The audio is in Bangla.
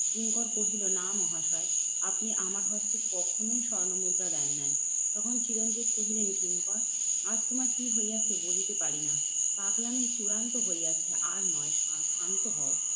কিঙ্কর নাহ মহাশয় আপনি আমার হস্তে কখনোই স্বর্ণমুদ্রা দেন নাই। তখন চিরঞ্জিত কহিলেন, কিঙ্কর আজ তোমার কি হইয়াছে বলিতে পারিনা? পাগলামি চূড়ান্ত হইয়াছে আর নয় ক্ষান্ত হও।